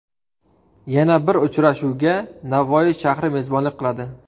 Yana bir uchrashuvga Navoiy shahri mezbonlik qiladi.